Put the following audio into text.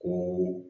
Ko